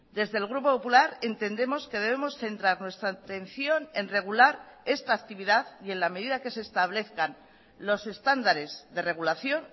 desde el grupo popular entendemos que debemos centrar nuestra atención en regular esta actividad y en la medida que se establezcan los estándares de regulación